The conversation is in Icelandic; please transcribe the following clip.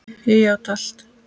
Ég játa allt